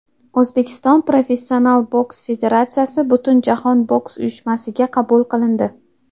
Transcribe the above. O‘zbekiston professional boks federatsiyasi Butunjahon boks uyushmasiga qabul qilindi.